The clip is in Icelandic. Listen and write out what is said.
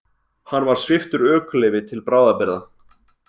Hann var sviptur ökuleyfi til bráðabirgða